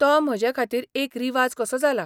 तो म्हजेखातीर एक रिवाज कसो जाला.